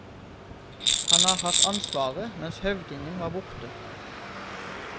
Han har hatt ansvaret mens høvdingen var borte.